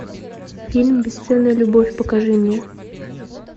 фильм бесценная любовь покажи мне